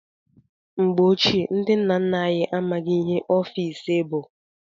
Mgbe ochie, ndị nna nna anyị amaghị ihe ọfiisi bụ.